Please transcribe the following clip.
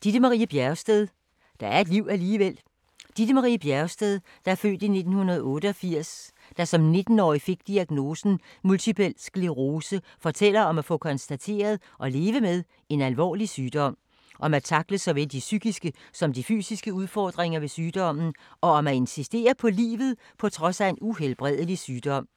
Bjergsted, Ditte Marie: Der er et liv alligevel Ditte Marie Bjergsted (f. 1988), der som 19 årig fik diagnosen multipel sclerose, fortæller om at få konstateret og leve med en alvorlig sygdom, om at tackle såvel de psykiske som de fysiske udfordringer ved sygdommen og om at insistere på livet på trods af en uhelbredelig sygdom.